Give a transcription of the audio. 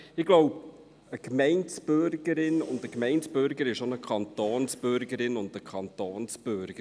Ich glaube, eine Gemeindebürgerin und ein Gemeindebürger ist auch eine Kantonsbürgerin und ein Kantonsbürger.